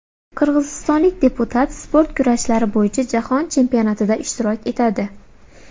Qirg‘izistonlik deputat sport kurashlari bo‘yicha Jahon chempionatida ishtirok etadi.